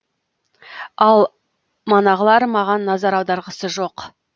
ал манағылар маған назар аударғысы жоқ